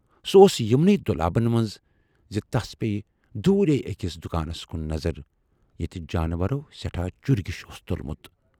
سُہ اوس یِمنٕے دۅلابن منز زِ تس پییہِ دوٗرے ٲکِس دُکانس کُن نظر ییتہِ جانورو سٮ۪ٹھاہ چُرۍگیُش اوس تُلمُت۔